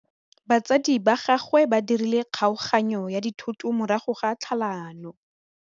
Batsadi ba gagwe ba dirile kgaoganyô ya dithoto morago ga tlhalanô.